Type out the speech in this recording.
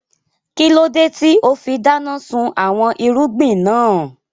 Kílódé tíì ó fi dáná sun àwọn irúgbìn náà